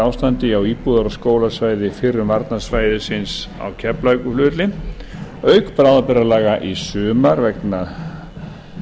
ástandi á íbúðar og skólasvæði fyrrum varnarsvæðisins á keflavíkurflugvelli auk bráðabirgðalaga í sumar vegna